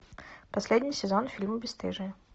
последний сезон фильма бесстыжие